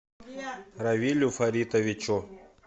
равилю фаритовичу